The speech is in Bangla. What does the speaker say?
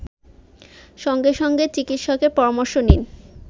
সঙ্গে সঙ্গে চিকিৎসকের পরামর্শ নিন